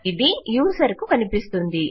ఇది యూజర్ కు కనిపిస్తుంది